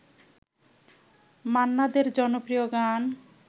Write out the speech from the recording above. মান্না দের জনপ্রিয় গান